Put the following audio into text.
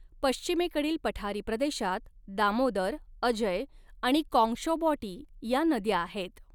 पश्चिमेकडील पठारी प्रदेशात दामोदर अजय आणि कॉङ्गशॉबॉटी या नद्या आहेत.